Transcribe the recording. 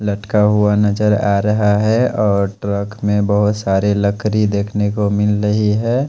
लटका हुआ नजर आ रहा है और ट्रक मे बहुत सारे लकरी देखने को मिल रही है।